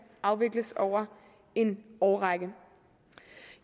afvikles over en årrække